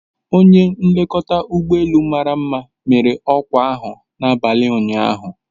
Onye nlekọta ụgbọ elu mara mma mere ọkwa ahụ n'abalị ụnyaahụ